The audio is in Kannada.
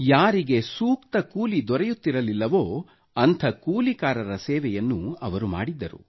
ಯಾರಿಗೆ ಸೂಕ್ತ ಕೂಲಿ ದೊರೆಯುತ್ತಿರಲಿಲ್ಲವೋ ಅಂಥ ಕೂಲಿಗಾರರ ಸೇವೆಯನ್ನು ಅವರು ಮಾಡಿದ್ದರು